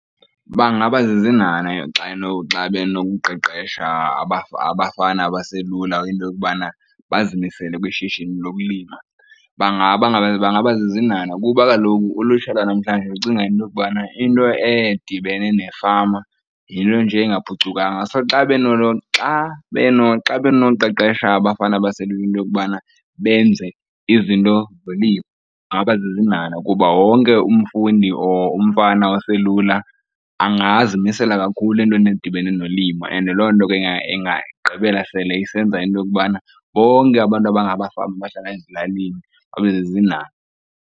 Bangabazizinhanha xa xa benokuqeqesha abafana abaselula into yokubana bazimisele kwishishini lokulima. Bangabazizinhanha kuba kaloku ulutsha lwanamhlanje lucinga into yokubana into edibene nefama yinto nje engaphucukanga, so xa , xa , xa benoqeqesha abafana abaselula into yokubana benze izinto zolimo, bangabazizinhanha kuba wonke umfundi or umfana oselula angazimisela kakhulu entweni ezidibene nolimo. And loo nto ke ingagqibela sele isenza into yokubana bonke abantu abangamafama abahlala ezilalini babe zizinhanha.